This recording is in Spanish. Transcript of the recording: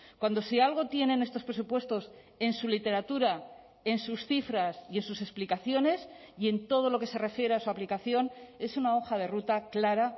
cuando si algo tienen estos presupuestos en su literatura en sus cifras y en sus explicaciones y en todo lo que se refiere a su aplicación es una hoja de ruta clara